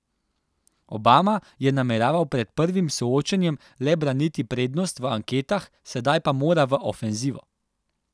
Obama je nameraval pred prvim soočenjem le braniti prednost v anketah, sedaj pa mora v ofenzivo.